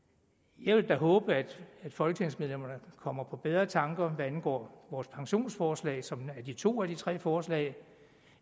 jeg vil da håbe at folketingsmedlemmerne kommer på bedre tanker hvad angår vores pensionsforslag som er de to ud af de tre forslag